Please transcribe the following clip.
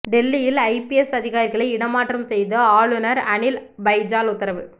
டெல்லியில் ஐபிஎஸ் அதிகாரிகளை இடமாற்றம் செய்து ஆளுநர் அனில் பைஜால் உத்தரவு